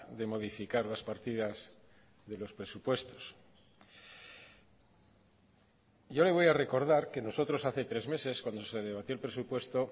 de modificar las partidas de los presupuestos yo le voy a recordar que nosotros hace tres meses cuando se debatió el presupuesto